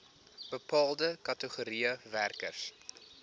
bepaalde kategorieë werkers